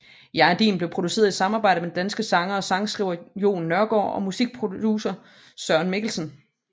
Jeg Er Din blev produceret i samarbejde med den danske sanger og sangskriver Jon Nørgaard og musikproducer Søren Mikkelsen